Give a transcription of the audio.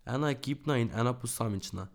Ena ekipna in ena posamična.